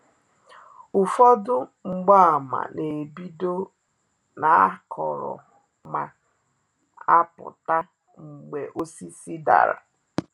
Ụfọdụ mgbaàmà na-ebido n’akọrọ ma apụta mgbe osisi dara.